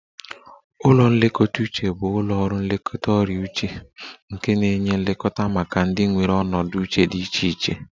Ụlọ nlekọta uche bụ ụlọ ọrụ nlekọta ọrịa uche nke na-enye nlekọta maka ndị nwere ọnọdụ uche dị iche iche